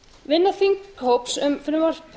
vinna þinghóps um frumvarp